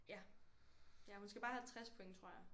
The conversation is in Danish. Ja ja hun skal bare have 60 point tror jeg